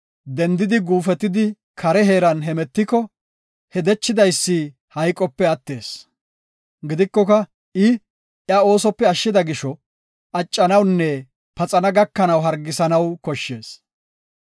dendidi guufetidi kare heeran hemetiko, he dechidaysi hayqope attees. Gidikoka I iya oosope ashshida gisho, accanawunne paxana gakanaw hargisanaw koshshees.